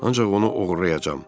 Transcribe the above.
Ancaq onu oğurlayacam.